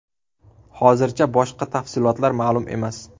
Hozircha boshqa tafsilotlar ma’lum emas.